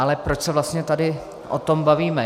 Ale proč se vlastně tady o tom bavíme?